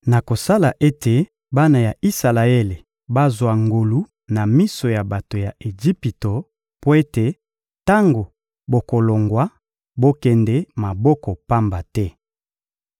Nakosala ete bana ya Isalaele bazwa ngolu na miso ya bato ya Ejipito mpo ete, tango bokolongwa, bokende maboko pamba te.